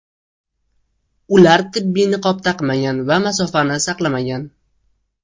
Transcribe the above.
Ular tibbiy niqob taqmagan va masofa saqlamagan.